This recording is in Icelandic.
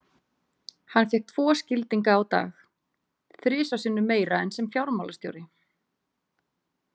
Hann fékk tvo skildinga á dag, þrisvar sinnum meira en sem fjármálastjóri.